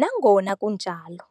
Nangona kunjalo,